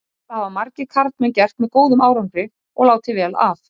Þetta hafa margir karlmenn gert með góðum árangri, og láta vel af.